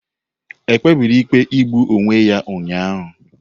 Ekpebiri ikpe igbu onwe ya ụnyahụ?